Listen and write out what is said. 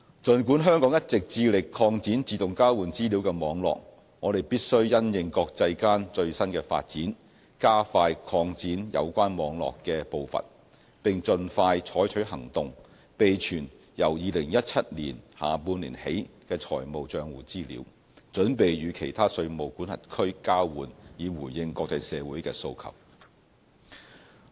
儘管香港一直致力擴展自動交換資料的網絡，我們必須因應國際間最新的發展，加快擴展有關網絡的步伐，並盡快採取行動，備存由2017年下半年起的財務帳戶資料，準備與其他稅務管轄區交換，以回應國際社會的訴求。